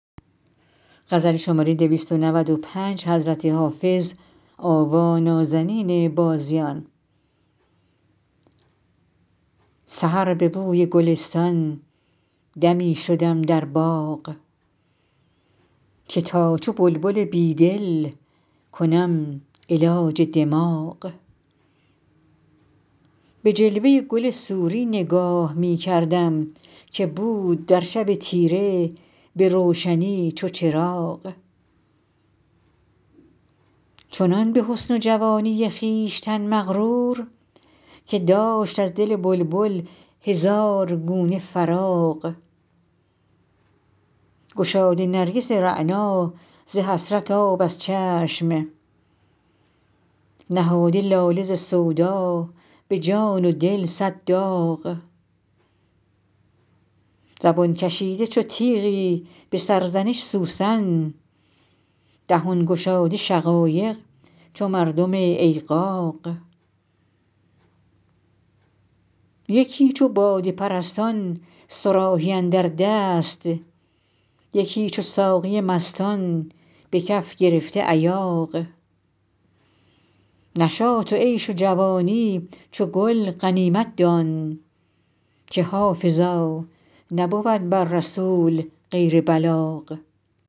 سحر به بوی گلستان دمی شدم در باغ که تا چو بلبل بیدل کنم علاج دماغ به جلوه گل سوری نگاه می کردم که بود در شب تیره به روشنی چو چراغ چنان به حسن و جوانی خویشتن مغرور که داشت از دل بلبل هزار گونه فراغ گشاده نرگس رعنا ز حسرت آب از چشم نهاده لاله ز سودا به جان و دل صد داغ زبان کشیده چو تیغی به سرزنش سوسن دهان گشاده شقایق چو مردم ایغاغ یکی چو باده پرستان صراحی اندر دست یکی چو ساقی مستان به کف گرفته ایاغ نشاط و عیش و جوانی چو گل غنیمت دان که حافظا نبود بر رسول غیر بلاغ